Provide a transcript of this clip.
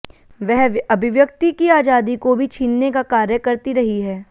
वह अभिव्यक्ति की आजादी को भी छीनने का कार्य करती रही है